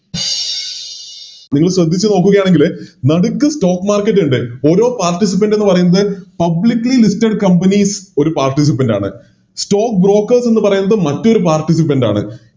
ഇനി ശ്രെദ്ധിച്ചു നോക്കുകയാണെങ്കില് നടുക്ക് Stock market ഇണ്ട് ഓരോ Participant ന്ന് പറയുന്നത് Publically listed companies ഒരു Participant ആണ് Stock broker എന്ന് പറയുന്നത് മറ്റൊരു Participant ആണ്